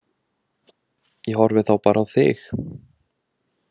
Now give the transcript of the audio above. Ég horfi þá bara á þig.